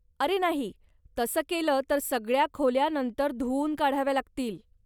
अरे नाही, तसं केलं तर सगळ्या खोल्या नंतर धुवून काढाव्या लागतील.